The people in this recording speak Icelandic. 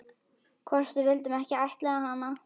Hvort við vildum ekki ættleiða hana?